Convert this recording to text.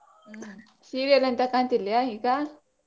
ಹ್ಮ್ serial ಎಂತ ಕಾಂತಿಲ್ಯ ಈಗ?